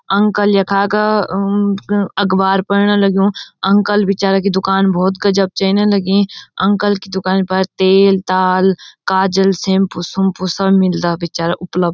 अंकल यखा क अम अ अकबार पढ़णा लग्युं अंकल बिचारा की दुकान भौत गजब चैने लगीं अंकल की दुकान पर तेल ताल काजल सेम्पू सुम्पू सब मिलदा बिचारा उपलब्ध।